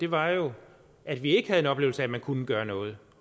var jo at vi ikke havde en oplevelse af at man kunne gøre noget